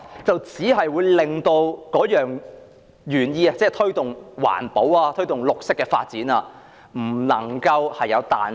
所以，如果定義寫得太明確，推動環保、推動綠色發展就會欠缺彈性。